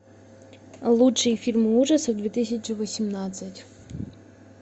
лучшие фильмы ужасов две тысячи восемнадцать